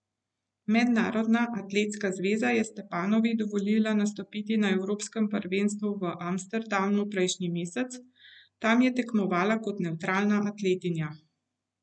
Mednarodna atletska zveza je Stepanovi dovolila nastopiti na evropskem prvenstvu v Amsterdamu prejšnji mesec, tam je tekmovala kot nevtralna atletinja.